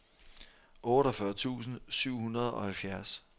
otteogfyrre tusind syv hundrede og halvfjerds